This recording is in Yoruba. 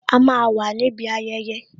A máa wà níbi ayẹyẹ